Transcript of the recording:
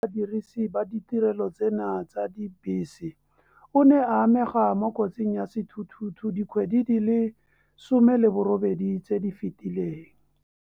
Badirisi ba ditirelo tseno tsa dibese, o ne a amega mo kotsing ya sethuthuthu dikgwedi di le 18 tse di fetileng.